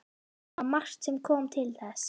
Það var margt sem kom til þess.